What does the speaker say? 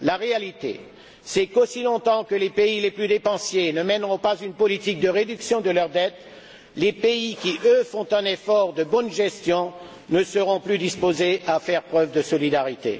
La réalité, c'est qu'aussi longtemps que les pays les plus dépensiers ne mèneront pas une politique de réduction de leur dette, les pays qui, eux, font un effort de bonne gestion ne seront plus disposés à faire preuve de solidarité.